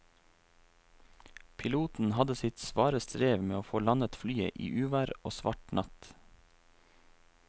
Piloten hadde sitt svare strev med å få landet flyet i uvær og svart natt.